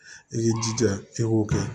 I k'i jija i k'o kɛ